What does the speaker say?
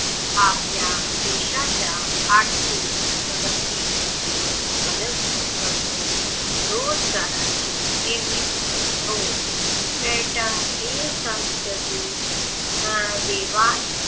आपल्या देशाच्याआर्थिक प्रगती मध्ये मदत करतो रोजगाराची निर्मिती करतो पर्यटन हे संस्कृती देवाण घेवाण